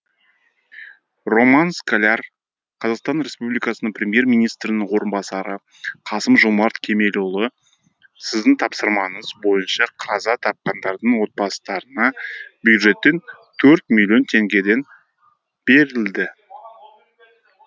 роман скляр қазақстан республикасының премьер министрінің орынбасары қасым жомарт кемелұлы сіздің тапсырмаңыз бойынша қаза тапқандардың отбастарына бюджеттен төрт миллион теңгеден берілді